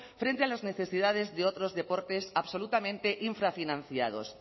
frente a las necesidades de otros deportes absolutamente infrafinanciados